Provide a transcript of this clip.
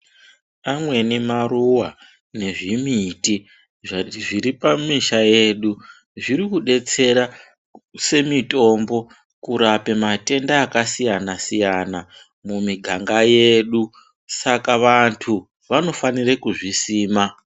Pamweni maruwa nezvimiti zviripamisha yedu zvirikudetsera semitombo kurape matenda akasiyana siyana mumiganga yedu saka vantu vanofanira kuzvisima.